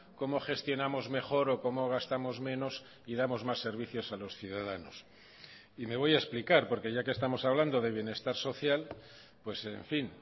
cómo gestionamos mejor o cómo gastamos menos y damos más servicios a los ciudadanos y me voy a explicar porque ya que estamos hablando de bienestar social pues en fin